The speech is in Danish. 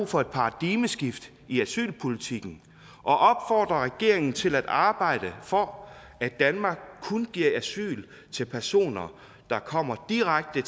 for et paradigmeskift i asylpolitikken og opfordrer regeringen til at arbejde for at danmark kun giver asyl til personer der kommer direkte